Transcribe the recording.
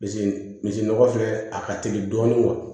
misi nɔgɔ filɛ a ka teli dɔɔni